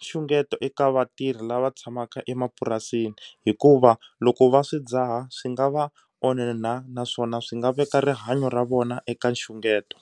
nxungeto eka vatirhi lava tshamaka emapurasini hikuva loko va swi dzaha swi nga va onha naswona swi nga veka rihanyo ra vona eka nxungeto.